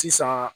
Sisan